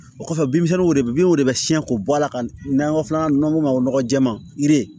O kɔfɛ binw de bin o de bɛ siɲɛ k'o bɔ a la ka n'a filanan n'an b'o fɔ o ma nɔgɔ jɛman yiri